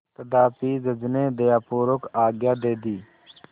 तथापि जज ने दयापूर्वक आज्ञा दे दी